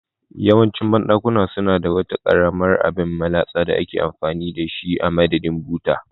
Yawancin banɗakuna suna da wata karamar abin latsawa da ake amfani da shi a madadin buta